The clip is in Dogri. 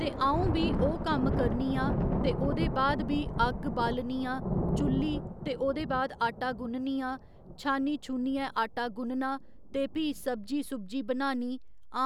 ते अ'ऊं भी ओह् कम्म करनी आं ते ओह्दे बाद भी अग्ग बालनी आं चु'ल्ली ते ओह्दे बाद आटा गु'न्ननी आं छा'नी छू'नियै आटा गु'न्नना ते भी सब्जी सुब्जी बनानी